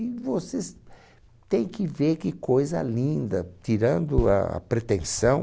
E você se, tem que ver que coisa linda, tirando a pretensão.